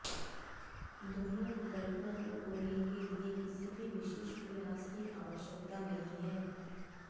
दोनों विकल्पों को खोलने के लिए किसी भी विशेष प्रयास की आवश्यकता नहीं है